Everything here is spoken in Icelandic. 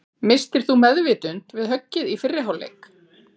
Misstir þú meðvitund við höggið í fyrri hálfleik?